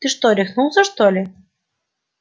ты что рехнулся что ли